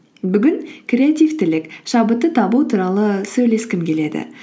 бүгін креативтілік шабытты табу туралы сөйлескім келеді